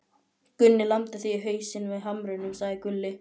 Gunni lamdi þig í hausinn með hamrinum, sagði Gulli.